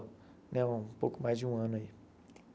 Né um pouco mais de um ano.